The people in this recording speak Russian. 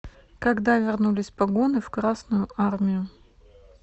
когда вернулись погоны в красную армию